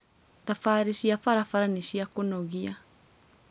Thabarĩ cia barabara nĩ cia kũnogĩa